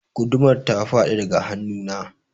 Gudumar ta faɗi daga hannu na.